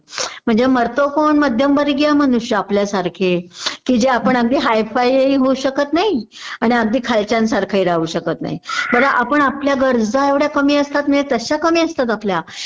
म्हणजे मरतो कोण मध्यमवर्गीय मनुष्य आपल्यासारखे कि जे आपण अगदी हायफाययही होऊ शकत नाही अगदी खालच्यांसारखही राहू शकत नाही बर आपण आपल्या गरजा एवढ्या कमी असतात म्हणजे तश्या कमी असतात आपल्या